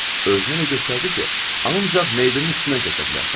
Özünə elə göstərdi ki, ancaq meyidimin üstündən keçə bilərsən.